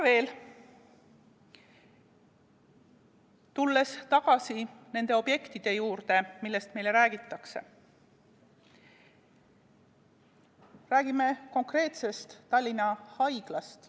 Tulles tagasi nende objektide juurde, millest meile räägitakse, räägime konkreetsest Tallinna Haiglast.